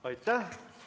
Aitäh!